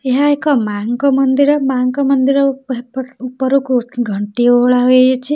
ଏହା ଏକ ମାଁଙ୍କ ମନ୍ଦିର ମାଁଙ୍କ ମନ୍ଦିର ଉପ୍ ଏପ୍ ଏହ୍ ଉପହ୍ ଉପରକୁ ଘଣ୍ଟି ଓହଳା ହେଇଅଛି --